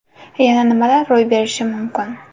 Yana nimalar ro‘y berishi mumkin?